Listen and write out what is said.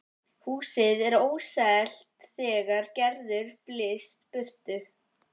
Húsið er óselt þegar Gerður flyst burtu